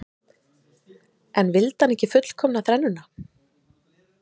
En vildi hann ekki fullkomna þrennuna?